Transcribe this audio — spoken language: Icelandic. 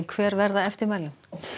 hver verða eftirmæli